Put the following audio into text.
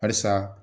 Halisa